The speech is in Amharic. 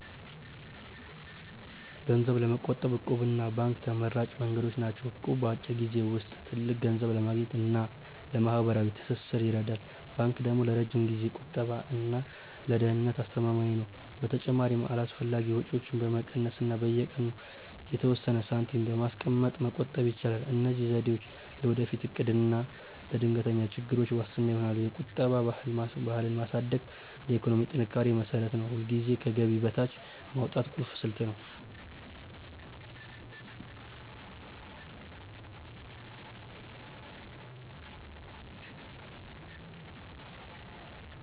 ገንዘብ ለመቆጠብ 'እቁብ' እና ባንክ ተመራጭ መንገዶች ናቸው። እቁብ በአጭር ጊዜ ውስጥ ትልቅ ገንዘብ ለማግኘት እና ለማህበራዊ ትስስር ይረዳል። ባንክ ደግሞ ለረጅም ጊዜ ቁጠባ እና ለደህንነት አስተማማኝ ነው። በተጨማሪም አላስፈላጊ ወጪዎችን በመቀነስ እና በየቀኑ የተወሰነ ሳንቲም በማስቀመጥ መቆጠብ ይቻላል። እነዚህ ዘዴዎች ለወደፊት እቅድ እና ለድንገተኛ ችግሮች ዋስትና ይሆናሉ። የቁጠባ ባህልን ማሳደግ ለኢኮኖሚ ጥንካሬ መሰረት ነው። ሁልጊዜም ከገቢ በታች ማውጣት ቁልፍ ስልት ነው።